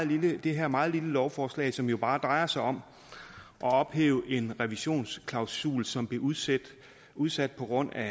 lige det her meget lille lovforslag som jo bare drejer sig om at ophæve en revisionsklausul som blev udsat udsat på grund af